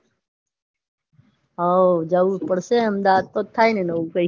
હઓ જઉં જ પડશે અમદાવાદ જ થાય ને નવું કૈંક